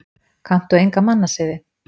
Kanntu enga mannasiði?